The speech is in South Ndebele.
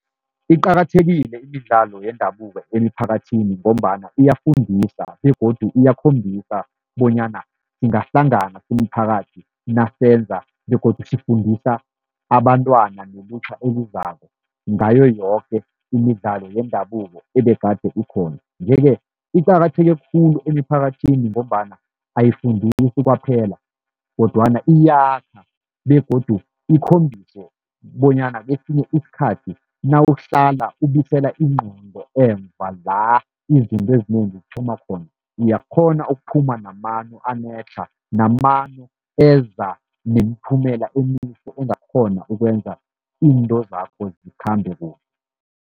Iqakathekile imidlalo yendabuko emiphakathini, ngombana iyafundisa begodu iyakhombisa bonyana singahlangana simphakathi nasenza begodu sifundisa abantwana, nelutjha elizako ngayo yoke imidlalo yendabuko ebegade ikhona. Nje-ke iqakatheke khulu emiphakathini, ngombana ayifundisi kwaphela, kodwana iyakha begodu ikhombise bonyana kesinye isikhathi nawuhlala ubuyisela ingqondo emva la izinto ezinengi zithoma khona, uyakghona ukuphuma namano anetlha, namano eza nemiphumela emihle engakghona ukwenza izinto zakho zikhambe kuhle.